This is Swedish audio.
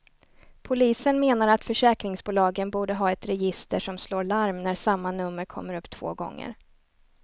Polisen menar att försäkringsbolagen borde ha ett register som slår larm när samma nummer kommer upp två gånger.